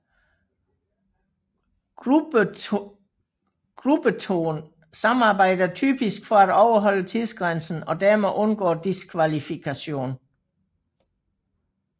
Gruppettoen samarbejder typisk for at overholde tidsgrænsen og dermed undgå diskvalifikation